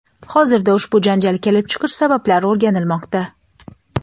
Hozirda ushbu janjal kelib chiqish sabablari o‘rganilmoqda.